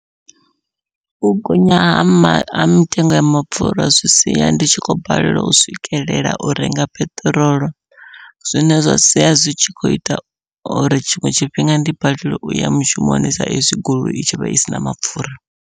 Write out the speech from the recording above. U gonya ha mitengo ya mapfhura zwi sia ndi tshi khou balelwa u swikelela u renga peṱirolo, zwine zwa sia zwi tshi kho ita uri tshiṅwe tshifhinga ndi balelwe uya mushumoni sa ezwi goloi i tshi vha isina mapfhura.